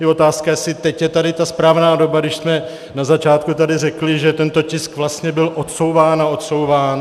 Je otázka, jestli teď je tady ta správná doba, když jsme na začátku tady řekli, že tento tisk vlastně byl odsouván a odsouván.